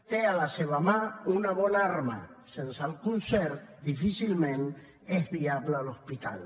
té a la seva mà una bona arma sense el concert difícilment és viable l’hospital